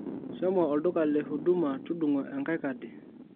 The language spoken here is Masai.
shomo olduka le huduma tudungo enkae kadi